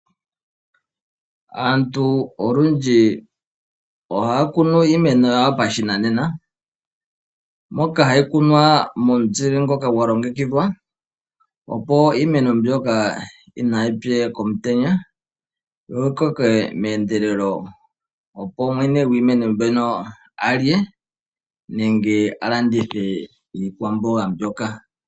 Aantu olundji ohaya kunu iimeno yawo pashinanena moka hayi kunwa momuzile ngoka gwa longekidhwa, opo iimeno mbyoka inayi pye komutenya yo yi koke meendelelo, opo mwene gwiimeno mbyono alye nenge a landithe iikwamboga mbyoka.